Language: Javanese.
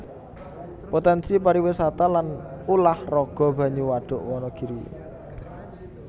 Potènsi pariwisata lan ulah raga banyu Wadhuk Wanagiri